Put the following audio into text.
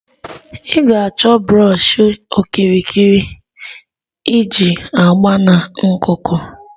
Ị ga-achọ brọshi okirikiri iji agba na nkuku